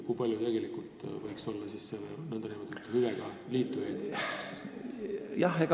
Kui palju tegelikult võiks olla selliseid nn hüvega liitujaid?